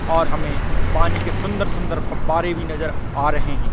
और हमें पानी के सुन्दर - सुन्दर फब्बारे भी नजर आ रहै है।